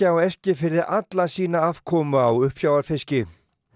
á Eskifirði alla sína afkomu á uppsjávarfiski